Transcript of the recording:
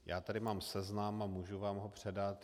Já tu mám seznam a mohu vám ho předat.